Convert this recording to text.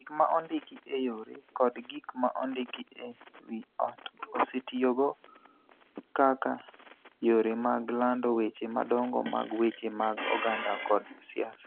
Gik ma ondiki e yore kod gik ma ondiki e wi ot osetiyogo kaka yore mag lando weche madongo mag weche mag oganda kod siasa.